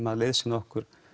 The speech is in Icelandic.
að liðsinna okkur